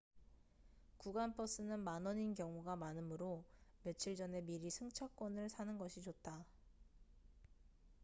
구간 버스는 만원인 경우가 많음으로 며칠 전에 미리 승차권을 사는 것이 좋다